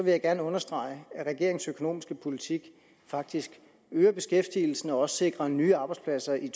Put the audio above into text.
jeg gerne understrege at regeringens økonomiske politik faktisk øger beskæftigelsen og sikrer også nye arbejdspladser i